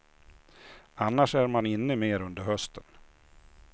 Annars är man inne mer under hösten.